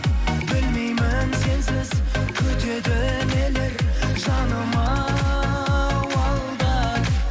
білмеймін сенсіз күтеді нелер жаным ау алда